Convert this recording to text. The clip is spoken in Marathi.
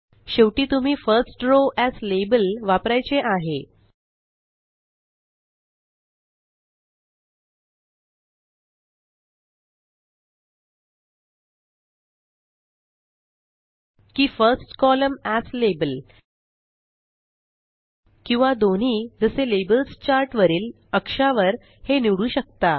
शेवटी तुम्ही फर्स्ट रॉव एएस लाबेल वापरायचे आहे की फर्स्ट कोलम्न एएस लाबेल किंवा दोन्ही जसे लेबल्स चार्ट वरील अक्षा वर हे निवडू शकता